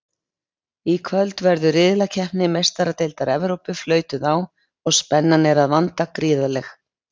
Í kvöld verður riðlakeppni Meistaradeildar Evrópu flautuð á og spennan er að vanda gríðarleg!